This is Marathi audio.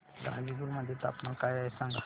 गाझीपुर मध्ये तापमान काय आहे सांगा